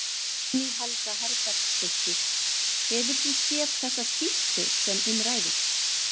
Guðný Helga Herbertsdóttir: Hefur þú séð þessa skýrslu sem um ræðir?